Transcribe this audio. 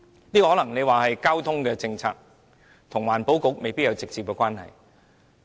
你可能說這是交通政策，跟環境局未必有直接關係。